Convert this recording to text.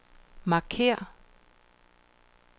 markér